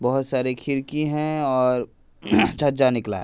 बहोत सारे खिड़की है और छज्जा निकला है।